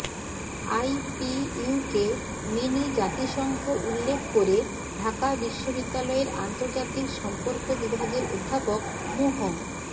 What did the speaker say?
আইপিইউকে mini জাতিসংঘ উল্লেখ করে ঢাকা বিশ্ববিদ্যালয়ের আন্তর্জাতিক সম্পর্ক বিভাগের অধ্যাপক মুহ